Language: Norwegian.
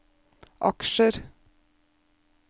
aksjer